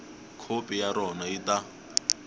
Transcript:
khopi ya rona yi ta